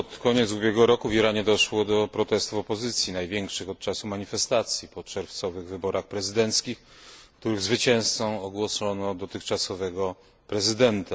Pod koniec ubiegłego roku w Iranie doszło do protestów opozycji, największych od czasów manifestacji po czerwcowych wyborach prezydenckich, których zwycięzcą ogłoszono dotychczasowego prezydenta.